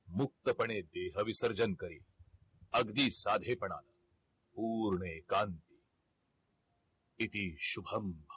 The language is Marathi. मुक्तपणे देह विसर्जन करील अगदी साधेपणाने पूर्ण एकांत इति शुभम